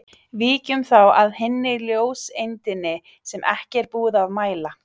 Víkjum þá að hinni ljóseindinni sem ekki er búið að mæla.